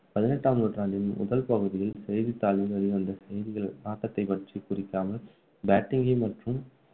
பதினெட்டாம் நூற்றாண்டின் முதல் பகுதியில் செய்திதாளில் வெளிவந்த செய்திகள் ஆட்டத்தை பற்றி குறிக்காமல் batting கை மட்டும்